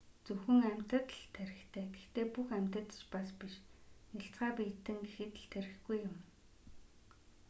зөвхөн амьтанд л тархитай гэхдээ бүх амьтад ч бас биш: нялцгай биетэн гэхэд л тархигүй юм.